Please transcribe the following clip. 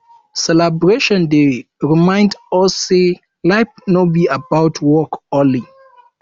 celebration dey remind us sey life no be about work only